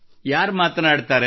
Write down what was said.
ಯಾರು ಮಾತನಾಡುತ್ತಾರೆ